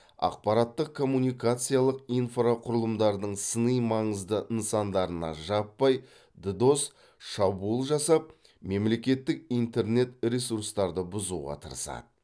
ақпараттық коммуникациялық инфрақұрылымдардың сыни маңызды нысандарына жаппай ддос шабуыл жасап мемлекеттік интернет ресрустарды бұзуға тырысады